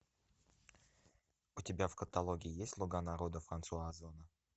у тебя в каталоге есть слуга народа франсуа озона